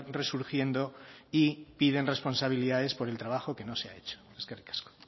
resurgiendo y piden responsabilidades por el trabajo que no se ha hecho eskerrik asko